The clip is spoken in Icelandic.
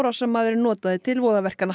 árásarmaðurinn notaði til voðaverkanna